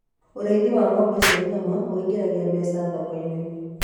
ũrĩithi wa ng'ombe cia nyama uingagiria mbeca thoko-inĩ